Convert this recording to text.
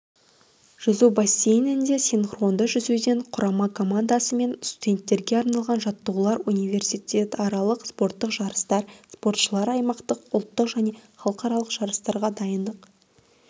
жүзу бассейнінде синхронды жүзуден құрама командасы мен студенттерге арналған жаттығулар университетаралық спорттық жарыстар спортшыларды аймақтық ұлттық және халықаралық жарыстарға дайындық